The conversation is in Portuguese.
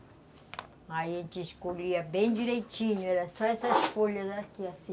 Aí a gente escolhia bem direitinho, só essas folhas aqui assim.